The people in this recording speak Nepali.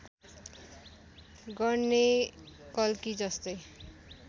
गर्ने कल्की जस्तै